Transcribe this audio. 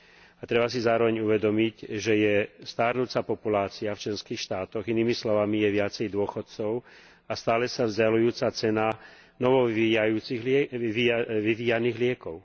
A treba si zároveň uvedomiť, že je starnúca populácia v členských štátoch, inými slovami je viacej dôchodcov a stále sa vzďaľujúca cena novovyvíjaných liekov.